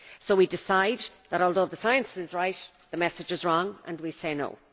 So we decide that, although the science is right, the message is wrong and we say no.